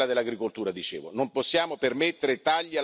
Non possiamo permettere tagli alla politica agricola comune.